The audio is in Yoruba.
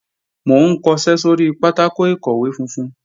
Mò ń kọṣẹ́ sóri pátákò ìkọ̀wé funfun